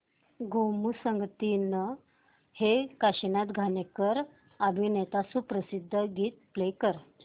गोमू संगतीने हे काशीनाथ घाणेकर अभिनीत सुप्रसिद्ध गीत प्ले कर